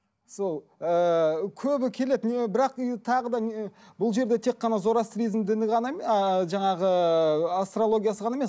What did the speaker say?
сол ыыы көбі келеді не бірақ үй тағы да не бұл жерде тек қана зороастризм діні ғана ааа жаңағы астрологиясы ғана емес